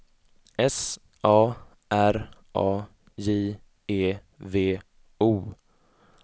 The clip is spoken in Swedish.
S A R A J E V O